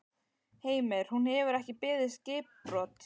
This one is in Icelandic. Heimir: Hún hefur ekki beðið skipbrot?